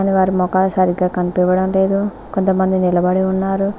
వారి మోకాలు సరిగ్గా కనిపియడం లేదు కొంతమంది నిలబడి ఉన్నారు.